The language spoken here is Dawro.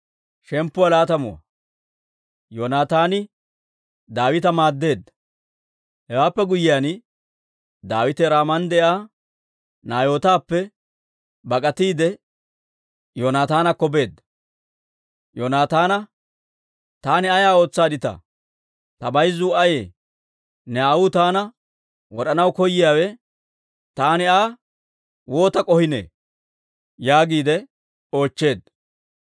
Hewaappe guyyiyaan, Daawite Raaman de'iyaa Naayootappe bak'atiide, Yoonataanakko beedda; Yoonataana, «Taani ay ootsaadditaa? Ta bayzuu ayee? Ne aawuu taana wod'anaw koyiyaawe, taani Aa waata k'ohiinee?» yaagiide oochcheedda.